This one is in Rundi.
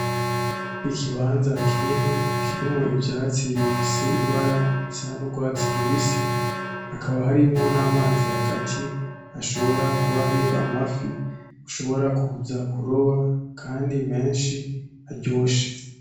Ikibanza kinini kirimwo ivyatsi bifise ibara risa n'urwatsi rubisi hakaba harimwo n'amazi hagati ashobora kuba hari amafi ushobora kuza kuroba kandi menshi aryoshe .